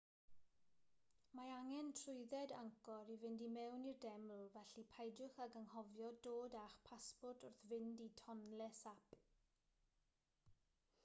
mae angen trwydded angkor i fynd i mewn i'r deml felly peidiwch ag anghofio dod â'ch pasport wrth fynd i tonle sap